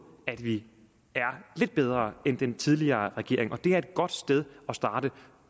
at vi er lidt bedre end den tidligere regering det er et godt sted at starte